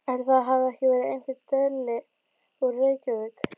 Ætli það hafi ekki verið einhver deli úr Reykjavík.